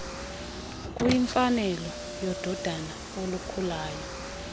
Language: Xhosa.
kuyimfanelo yododana olukhulayo